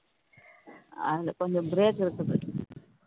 அது கொஞ்சம் break விட்டு